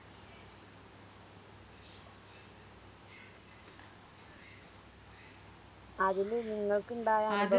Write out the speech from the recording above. അതില് നിങ്ങക്കിണ്ടായ